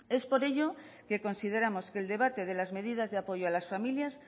es por ello que consideramos que el debate de las medidas de apoyo a las familias